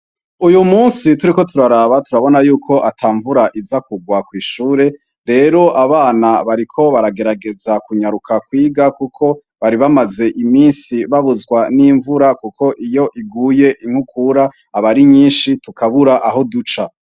Uyu munsi turiko turaraba turabona ko ata mvura iza kugwa kw'ishure. Rero abana bariko baragerageza kunyaruka kwiga, kuko bari bamaze iminsi babuzwa n'imvura. Kuko iyo iguye, inkukura iba ari nyinshi, tukabura aho duca.